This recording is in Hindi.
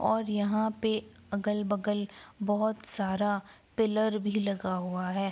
और यहाँ पे अगल बगल बोहोत सारा पिल्लर भी लगा हुआ है।